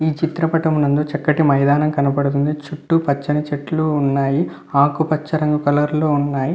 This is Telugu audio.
ఈ చిత్రపఠం నందు చక్కటి మైదానం కనబడుతుంది చుట్టూ పచ్చని చెట్లు ఉన్నాయి ఆకుపచ్చ రంగు కలర్ లో ఉన్నాయి.